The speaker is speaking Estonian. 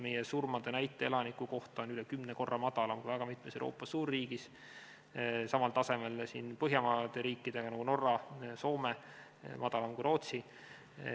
Meie surmade näit on üle kümne korra madalam kui väga mitmes Euroopa suurriigis, samal tasemel Põhjamaadega, nagu Norras, Soomes, madalam kui Rootsis.